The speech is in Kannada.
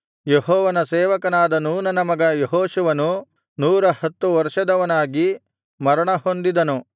ಯೆಹೋವನ ಸೇವಕನಾದ ನೂನನ ಮಗ ಯೆಹೋಶುವನು ನೂರ ಹತ್ತು ವರ್ಷದವನಾಗಿ ಮರಣಹೊಂದಿದನು